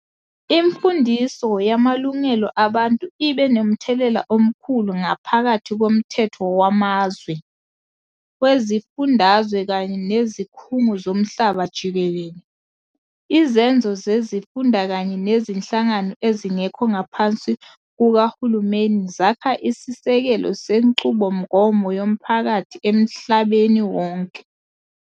Imfundiso yamalungelo abantu ibe nomthelela omkhulu ngaphakathi komthetho wamazwe, wezifundazwe kanye nezikhungo zomhlaba jikelele. Izenzo zezifunda kanye nezinhlangano ezingekho ngaphansi kukahulumeni zakha isisekelo senqubomgomo yomphakathi emhlabeni wonke.